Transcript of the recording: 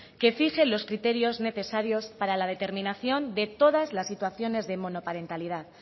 que fije los criterios necesarios para la determinación de todas las situaciones de monoparentalidad